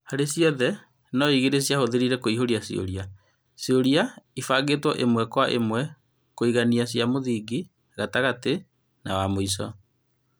Harĩ ciothe no-igĩrĩ ciahũthĩrire kũihũria cioria, cioragio ibangĩtwo ĩmwe kwa ĩmwe, kũngania cia mũthingi, gatagatĩ, na wa mũico.